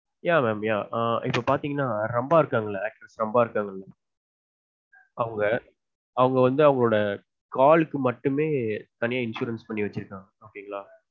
yeah mam yeah இப்ப பாத்தீங்கனா ரம்பா இருக்காங்கல actress ரம்பா இருக்காங்க அவங்க அவங்க வந்து அவங்களொட காலுக்கு மட்டுமே தனியா insurance பண்ணி வச்சுருக்காங்க okay ங்களா